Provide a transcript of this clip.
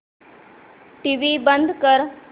TV बंद कर